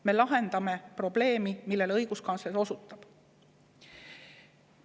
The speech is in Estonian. Me lahendame probleemi, millele õiguskantsler osutab.